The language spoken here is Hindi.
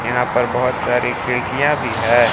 यहां पर बहोत सारी खिड़कियां भी है।